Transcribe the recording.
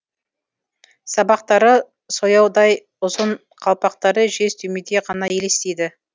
сабақтары сояудай ұзын қалпақтары жез түймедей ғана елестейді